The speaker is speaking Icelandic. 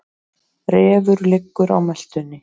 Refur liggur á meltunni.